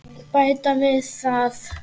Bæta við það.